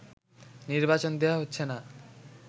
নির্বাচন দেয়া হচ্ছে না